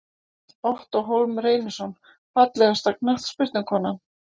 Ottó Hólm Reynisson Fallegasta knattspyrnukonan?